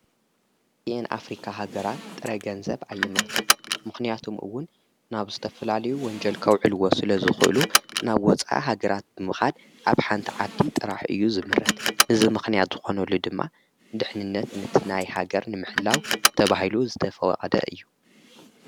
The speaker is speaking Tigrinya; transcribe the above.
ቲኤን ኣፍሪካ ሃገራት ጥረ ገንዘብ ኣየምርታን ምኽንያቶምውን ናብ ዝተፍላልዩ ወንጀልከውዕልዎ ስለ ዝኽእሉ ናብ ወፃ ሃገራት ብምኻድ ኣብ ሓንቲ ዓቲ ጥራሕ እዩ ዝምህርት ንዝ ምኽንያት ዝኾነሉ ድማ ድኅንነት ንትናይ ሃገር ንምሕላው ተብሂሉ ዝተፈወቕደ እዩ።